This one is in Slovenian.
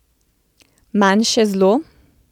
Manjše zlo?